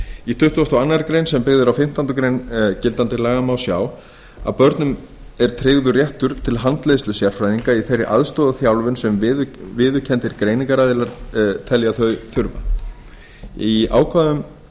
í tuttugasta og aðra grein sem byggð er á fimmtándu grein gildandi laga má sjá að börnum er tryggður réttur til handleiðslu sérfræðinga í þeirri aðstoð og þjálfun sem viðurkenndir greiningaraðilar telja þau þurfa í ákvæðunum